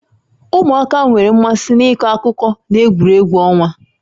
Ụmụaka nwere mmasị n'ịkọ akụkọ na egwuregwu ọnwa